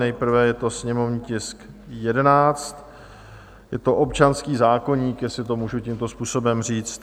Nejprve je to sněmovní tisk 11, je to občanský zákoník, jestli to můžu tímto způsobem říct.